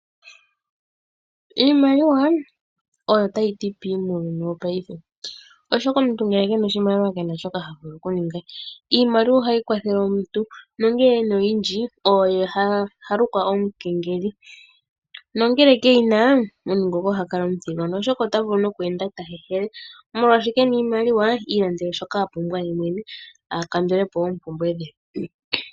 Iimaliwa oyo tayi ti pii muuyuni wopaife, oshoka omuntu ngele kena oshimaliwa kena shoka ta vulu oku ninga. Iimaliwa ohayi kwathele omuntu nongele ena oyindji oye ha lukwa omukengeli, no ngele ke yina omuntu ngoka oha kala omuthigona, oshoka ota vulu nokweenda ta hehela, molwaashoka kena iimaliwa iilandele shoka a pumbwa yemwene a kandule po oompumbwe dhe.